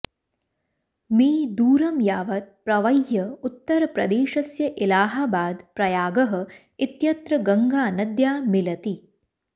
मी दूरं यावत् प्रवह्य उत्तरप्रदेशस्य इलहाबाद् प्रयागः इत्यत्र गङ्गानद्या मिलति